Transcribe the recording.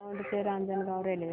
दौंड ते रांजणगाव रेल्वे